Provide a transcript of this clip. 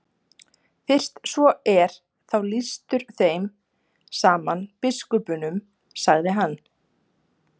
Fyrst svo er þá lýstur þeim saman biskupunum, sagði hann.